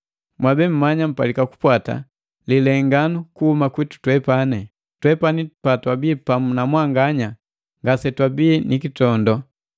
Mwabe mmanya mpalika kupwata lilenganu kuhuma kwitu twepani. Twepani patwabi pamu na mwanganya ngasetwabi ni kitondo,